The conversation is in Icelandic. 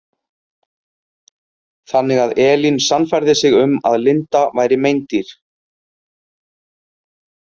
Þannig að Elín sannfærði sig um að Linda væri meindýr.